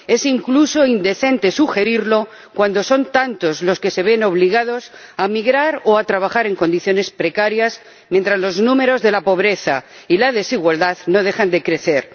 Es incluso indecente sugerirlo cuando son tantos los que se ven obligados a migrar o a trabajar en condiciones precarias, mientras los números de la pobreza y la desigualdad no dejan de crecer.